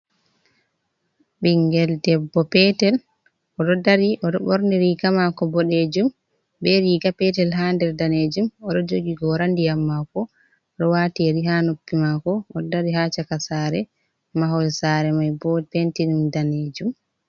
Ɓinngel debbo peetel, o ɗo dari o ɗo borni riiga maako boɗeejum bee Riiga peetel haa nder daneejum o ɗo jogi goora ndiyam maako, o ɗo waati Yeri haa noppi maako, o ɗo dari haa caka saare, mahol sare mai boo penti man daneejum.